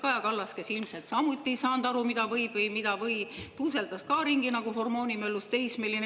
Kaja Kallas, kes ilmselt samuti ei saanud aru, mida võib või mida ei või, tuuseldas ka ringi nagu hormoonimöllus teismeline.